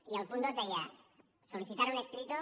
i el punt dos deia solicitar un escrito